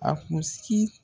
A kunsigi